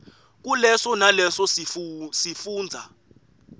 kuleso naleso sifundza